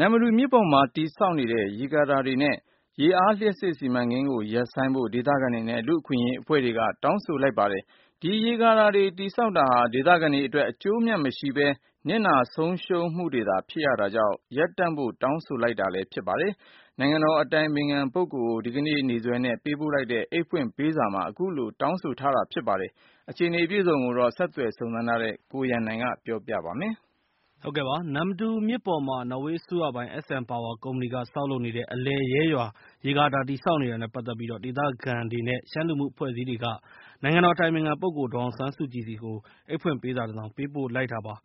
နမ္မတူမြစ်ပေါ်မှာ တည်ဆောက်နေတဲ့ ရေကာတာတွေ နဲ့ ရေအားလျှပ်စစ်စီမံကိန်းကို ရပ်ဆိုင်းဖို့ ဒေသခံတွေနဲ့ လူ့အခွင့်အရေးအဖွဲ့တွေက တောင်းဆိုလိုက်ပါတယ်။ ဒီရေကာတာတွေ တည်ဆောက်တာဟာ ဒေသခံတွေအတွက် အကျိုးအမြတ်မရှိဘဲ ၊ နစ်နာဆုံးရှုံးမှုတွေပဲ ဖြစ်နေရတာကြောင့် ရပ်တန့်ဖို့တောင်းဆို လိုက်တာဖြစ်တယ် လို့ ပြောပါတယ်။ နိုင်ငံတော်အတိုင်ပင်ခံ ပုဂ္ဂိုလ်ကို ဒီကနေ့ နေ့စွဲနဲ့ ပေးပို့ထားတဲ့ အိတ်ဖွင့်ပေးစားမှာ အခုလို တောင်းဆိုထားတာဖြစ်ပါတယ်။ ဒီအခြေအနေ အပြည့်အစုံကိုတော့ ဆက်သွယ်စုံစမ်းထားတဲ့ ကိုရန်နိုင်က ပြောပြပေး မှာဖြစ်ပါတယ်။ နမ္မတူမြစ်ပေါ်မှာ နော်ဝေးအစိုးရပိုင် SN Power ကုမ္ပဏီက ဆောက်လုပ်နေတဲ့ အလယ်ရဲရွာ ရေကာတာတည်ဆောက်နေတာနဲ့ ပတ်သက်ပြီး ဒေသခံတွေ နဲ့ ရှမ်းလူမှုအဖွဲ့အစည်းတွေက နိုင်ငံတော်အတိုင်ပင်ခံပုဂ္ဂိုလ် ဒေါ်အောင်ဆန်းစုကြည်ဆီကို အိတ်ဖွင့်ပေးစာ တစ်စောင်ပေးပို့လိုက်တာပါ။